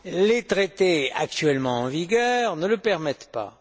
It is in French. Les traités actuellement en vigueur ne le permettent pas.